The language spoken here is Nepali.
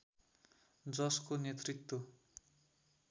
जसको नेतृत्व